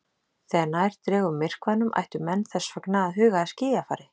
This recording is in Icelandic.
Þegar nær dregur myrkvanum ættu menn þess vegna að huga að skýjafari.